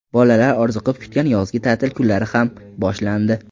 Bolalar orziqib kutgan yozgi ta’til kunlari ham boshlandi.